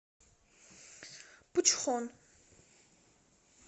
пучхон